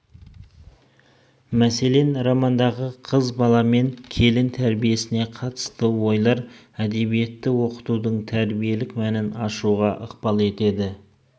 мәселен романдағы қыз бала мен келін тәрбиесіне қатысты ойлар әдебиетті оқытудың тәрбиелік мәнін ашуға ықпал етеді